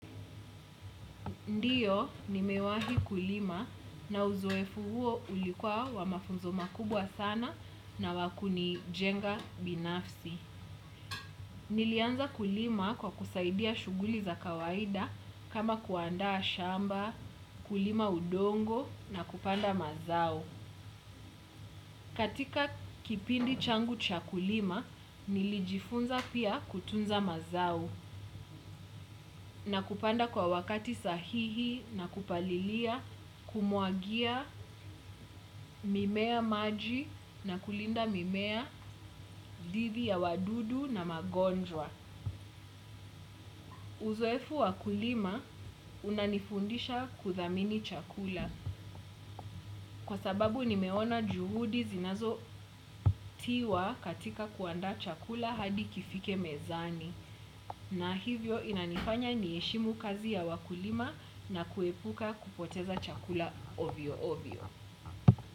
Ndiyo, nimewahi kulima na uzoefu huo ulikuwa wa mafunzo makubwa sana na wa kunijenga binafsi. Nilianza kulima kwa kusaidia shughuli za kawaida kama kuandaa shamba, kulima udongo na kupanda mazao. Katika kipindi changu cha kulima, nilijifunza pia kutunza mazao. Na kupanda kwa wakati sahihi na kupalilia, kumwagia, mimea maji na kulinda mimea, dhidi ya wadudu na magonjwa. Uzoefu wa kulima unanifundisha kuthamini chakula. Kwa sababu nimeona juhudi zinazotiwa katika kuandaa chakula hadi kifike mezani. Na hivyo inanifanya niheshimu kazi ya wakulima na kuepuka kupoteza chakula ovyo ovyo.